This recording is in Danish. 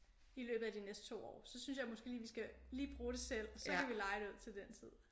I løbet af de næste 2 år så synes jeg måske lige vi skal lige bruge det selv så kan vi leje det ud til den tid